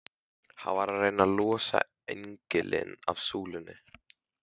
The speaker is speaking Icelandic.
Hann var að reyna að losa engilinn af súlunni!